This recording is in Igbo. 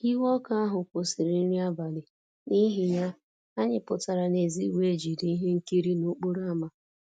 Iwe ọkụ ahụ kwụsịrị nri abalị, n'ihi ya, anyị pụtara n'èzí wee jide ihe nkiri n'okporo ámá